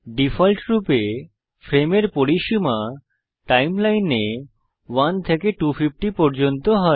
ডিফল্টরূপে ফ্রেমের পরিসীমা টাইমলাইনে 1 থেকে 250 পর্যন্ত হয়